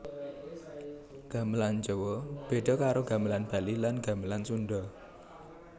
Gamelan Jawa beda karo Gamelan Bali lan Gamelan Sunda